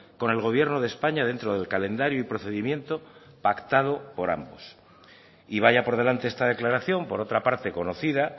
con el gobierno de españa dentro del calendario y procedimiento pactado por ambos y vaya por delante esta declaración por otra parte conocida